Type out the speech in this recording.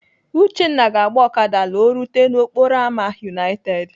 Uchenna ga-agba Okada la o rute n'okporo ámá United.